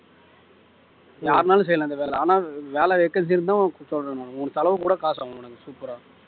யார்னாலும் செய்யலாம் இந்த வேலை ஆனா வேலை vacancy இருந்தா உனக்கு சொல்றேன் நான் உன் தளவு கூட காசு ஆகும் உனக்கு super ஆ